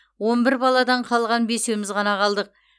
он бір баладан қалған бесеуіміз ғана қалдық